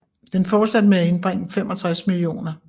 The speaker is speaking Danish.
Den fortsatte med at indbringe 65 mio